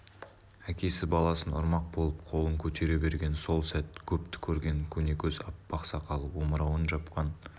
әкесі баласын ұрмақ болып қолын көтере берген сол сәт көпті көрген көнекөз аппақ сақалы омырауын жапқан